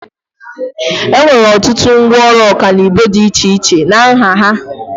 Enwere ọtụtụ ngwaọrụ ọkanibo dị iche iche na nha ha.